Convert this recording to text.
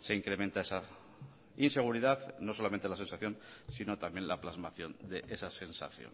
se incrementa esa inseguridad no solamente la sensación sino también la plasmación de esas sensación